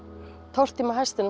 tortíma hestinum